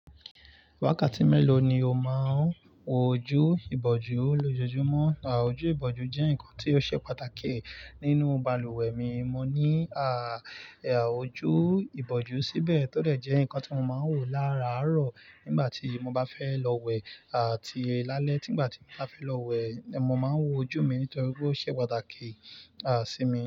Wákàtí mélòó ni o máà ń wọ ojú ìbòjú lójoojúmọ́? Ojú ìbòjú jẹ́ ǹkan tí ó ṣe pàtàkì nínú balùwẹ̀ mi. Mo ní à ojú ìbòjú síbẹ̀ tó lè jẹ́ ǹkan tí mo máa ń wò lára àárọ̀ nígbà tí mo bá fẹ́ lọ wẹ̀ àti lálẹ́ tígbà tí mo bá fẹ́ lọ wẹ̀, mo máa ń wọ ojú mi nítorí pé ó ṣe pàtàkì à sí mi.